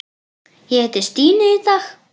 Ég hitti Stínu í dag.